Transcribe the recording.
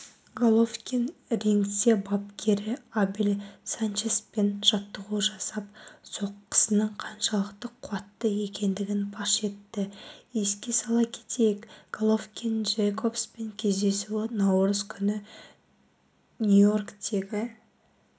головкин рингте бапкері абел санчеспен жаттығу жасап соққысының қаншалықты қуатты екендігін паш етті еске сала кетейік головкин-джейкобс кездесуі наурыз күні нью-йорктегі